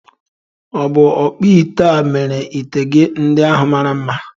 Ọ̀ bụ ọkpụite a mere ite gị ndị ahu mara mma?